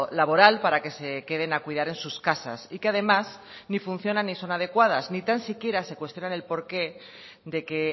laboral para que se queden a cuidar en sus casas y que además ni funcionan ni son adecuadas ni tan siquiera se cuestionan el porqué de que